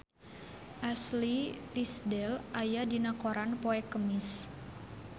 Ashley Tisdale aya dina koran poe Kemis